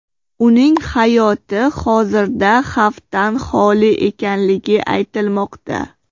Uning hayoti hozirda xavfdan holi ekanligi aytilmoqda.